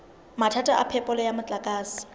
mathata a phepelo ya motlakase